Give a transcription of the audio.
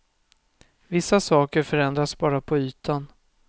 Vissa saker förändras bara på ytan.